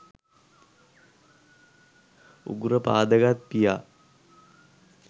උගුර පාදගත් පියා